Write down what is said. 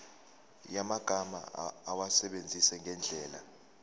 yamagama awasebenzise ngendlela